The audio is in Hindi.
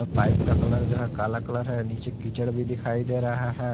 पाइप का कलर जो है काला कलर है नीचे कीचड़ भी दिखाई दे रहा है।